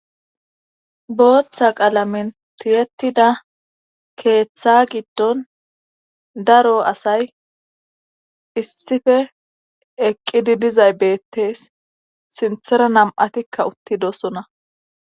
booththa qalamin tiyettida keeththa giddon daro asay issife eqqidi dizay beettees sinthera nam'atikka uttidosona